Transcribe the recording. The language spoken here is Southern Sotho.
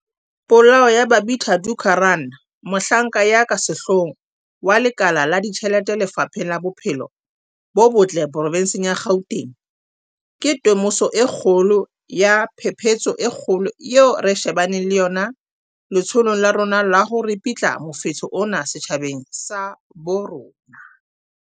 Polao ya Babita Deokaran, mohlanka ya ka sehloohong wa lekala la ditjhelete Lefapheng la Bophelo bo Botle provenseng ya Gauteng, ke temoso e kgolo ya phephetso e kgolo eo re shebaneng le yona letsholong la rona la ho ripitla mofetshe ona setjhabeng sa bo rona.